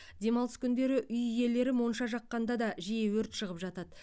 демалыс күндері үй иелері монша жаққанда да жиі өрт шығып жатады